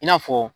I n'a fɔ